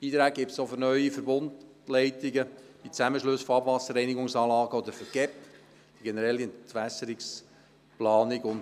Beiträge gibt es auch für neue Verbundleitungen, die Zusammenschlüsse von Abwasserreinigungsanlagen oder für den Generellen Entwässerungsplan (GEP).